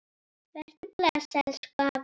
Vertu bless, elsku afi.